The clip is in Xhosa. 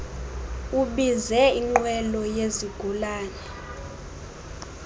ubize inqwelo yezigulana